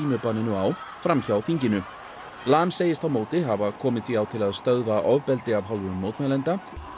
á fram hjá þinginu segist á móti hafa komið því á til að stöðva ofbeldi af hálfu mótmælenda